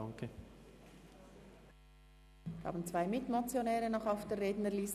Wir haben noch zwei Mitmotionäre auf der Rednerliste.